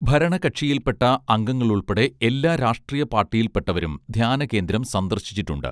ഭരണകക്ഷിയിൽപ്പെട്ട അംഗങ്ങളുൾപ്പെടെ എല്ലാ രാഷ്ട്രീയ പാർട്ടിയിൽപ്പെട്ടവരും ധ്യാനകേന്ദ്രം സന്ദർശിച്ചിട്ടുണ്ട്